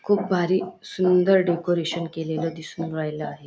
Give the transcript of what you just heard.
खूप भारी सुंदर डेकोरेशन केलेलं दिसून राहिल आहे.